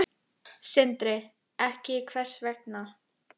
Sindri: Ekki, hvers vegna?